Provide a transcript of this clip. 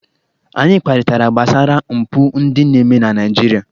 Anyị kparịtara gbasara mpụ ndị na-eme na Naịjirịa.